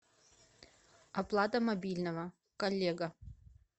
оплата мобильного коллега